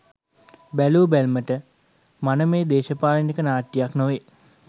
බැලූ බැල්මට මනමේ දේශපාලනික නාට්‍යයක් නොවේ.